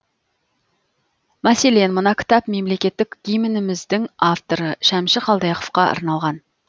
мәселен мына кітап мемлекеттік гимніміздің авторы шәмші қалдаяқовқа арналған